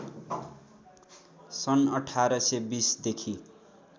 सन् १८२० देखि